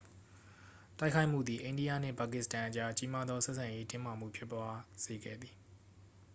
တိုက်ခိုက်မှုသည် အိန္ဒိယနှင့် ပါကစ္စတန်အကြား ကြီးမားသောဆက်ဆံရေး တင်းမာမှုဖြစ်သွားစေခဲ့သည်